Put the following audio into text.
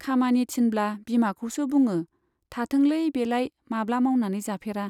खामानि थिनब्ला बिमाखौसो बुङो , थाथोंलै , बेलाय माब्ला मावनानै जाफेरा।